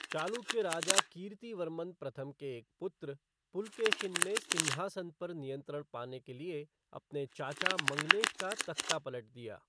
चालुक्य राजा कीर्तिवर्मन प्रथम के एक पुत्र, पुलकेशिन ने सिंहासन पर नियंत्रण पाने के लिए अपने चाचा मंगलेश का तख्ता पलट दिया।